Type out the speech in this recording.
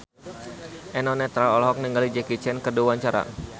Eno Netral olohok ningali Jackie Chan keur diwawancara